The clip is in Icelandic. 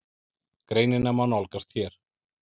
Greinina má nálgast hér.